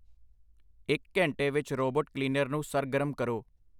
ਇੱਕ ਘੰਟੇ ਵਿੱਚ ਰੋਬੋਟ ਕਲੀਨਰ ਨੂੰ ਸਰਗਰਮ ਕਰੋ